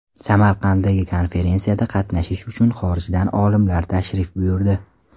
Samarqanddagi konferensiyada qatnashish uchun xorijdan olimlar tashrif buyurdi .